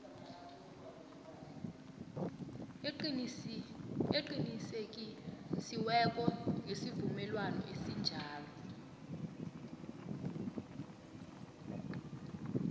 eqinisekisiweko yesivumelwano esinjalo